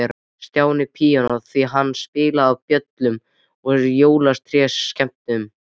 Stjáni píanó, því hann spilaði á böllum og jólatrésskemmtunum.